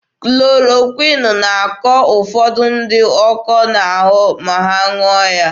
Klorokwịn na-akọ ụfọdụ ndị ọkọ n'ahụ ma ha ṅụọ ya.